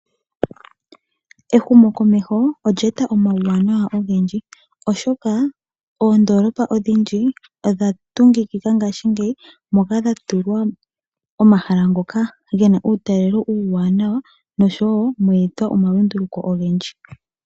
Ehumo komeho olyeta omauwanawa ogendji oshoka oondolopa odhindji odhatungikika ngashingeyi moka dhatulwa omahala ngoka gena uutalelo uuwanawa nosho wo mwetwa omalunduluko ogendji.